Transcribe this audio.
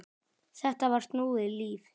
Þetta var snúið líf.